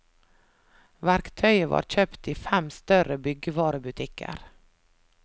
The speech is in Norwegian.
Verktøyet var kjøpt i fem større byggevarebutikker.